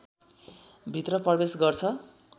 भित्र प्रवेश गर्छ